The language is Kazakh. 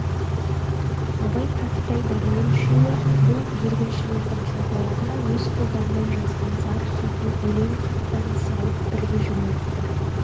абай кәкітай дәрмен үшеуі бұл жүргіншілердің қалталарына өз қолдарымен жазған зар хатын өлең хаттарын салып бірге жөнелтті